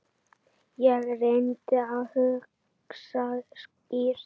Ég reyndi að hugsa skýrt.